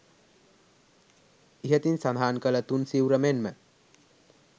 ඉහතින් සඳහන් කළ තුන් සිවුර මෙන් ම